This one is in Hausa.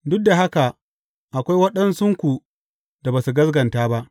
Duk da haka akwai waɗansunku da ba su gaskata ba.